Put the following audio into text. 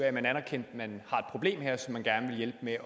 at man anerkender at man gerne vil